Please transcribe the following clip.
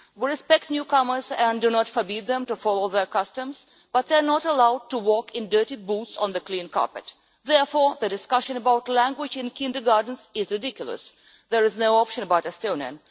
We respect newcomers and do not forbid them to follow their customs but they are not allowed to walk in dirty boots on the clean carpet. Therefore, the discussion about language in kindergartens is ridiculous. There is no option about Estonian.